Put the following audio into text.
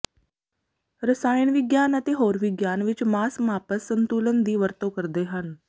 ਰਸਾਇਣ ਵਿਗਿਆਨ ਅਤੇ ਹੋਰ ਵਿਗਿਆਨ ਵਿੱਚ ਮਾਸ ਮਾਪਸ ਸੰਤੁਲਨ ਦੀ ਵਰਤੋਂ ਕਰਦੇ ਹਨ